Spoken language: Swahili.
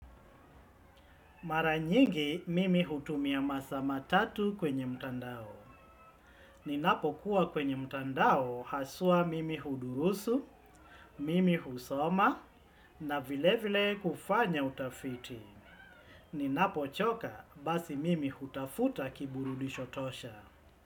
Mara nyingi mimi hutumia masaa matatu kwenye mtandao. Ninapokuwa kwenye mtandao haswa mimi hudurusu, mimi husoma na vile vile kufanya utafiti. Ninapochoka basi mimi hutafuta kiburudisho tosha.